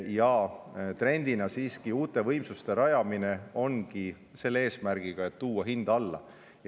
Ja trend ongi siiski rajada uusi võimsusi selle eesmärgiga, et tuua hinda alla.